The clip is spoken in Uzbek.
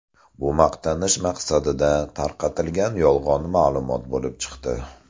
Bu maqtanish maqsadida tarqatilgan yolg‘on ma’lumot bo‘lib chiqdi.